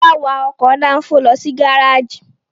Fọlá wa ọkọ̀ dáńfó lọ sí gárájì.